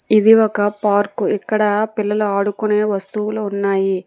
ఇది ఒక పార్కు ఇక్కడ పిల్లలు ఆడుకునే వస్తువులు ఉన్నాయి.